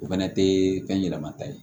O fɛnɛ tɛ fɛn ɲɛnama ta ye